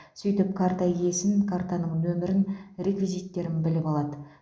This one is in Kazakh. сөйтіп карта иесінен картаның нөмірін реквизиттерін біліп алады